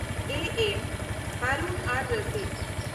A. M. Harun-ar-Rashid